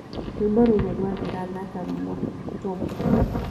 rwĩmbo rũrũ rwathira thaka motoba